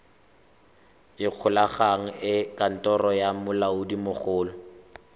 ikgolaganye le kantoro ya molaodimogolo